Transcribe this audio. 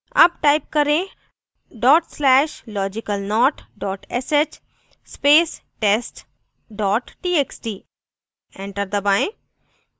अब type करें dot slash logicalnot dot sh space test dot txt enter दबाएं